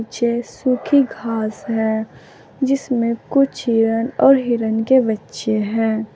सूखी घास है जिसमें कुछ हिरण और हिरण के बच्चे हैं।